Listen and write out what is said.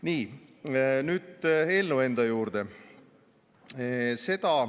Nii, nüüd eelnõu enda juurde.